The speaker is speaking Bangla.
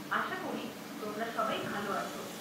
আশা করি তোমরা সবাই ভাল আছ।